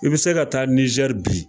I bɛ se ka taa Nzɛri bi